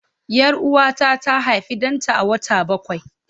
Yar Uwata ta haifi danta a wata bakwai.